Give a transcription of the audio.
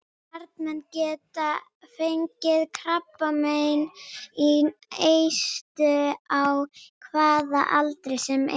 Karlmenn geta fengið krabbamein í eistu á hvaða aldri sem er.